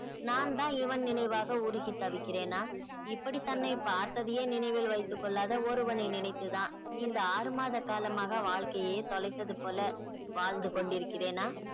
நான் தான் இவன் நினைவாக உருகி தவிக்கிறேனா இப்படி தன்னை பார்த்ததையே நினைவில் வைத்துக் கொள்ளாத ஒருவனை நினைத்து தான் இந்த ஆறு மாத காலமாக வாழ்க்கையே தொலைத்தது போல வாழ்ந்து கொண்டிருக்கிறேனா